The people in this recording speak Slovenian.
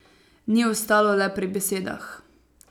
Ni ostalo le pri besedah.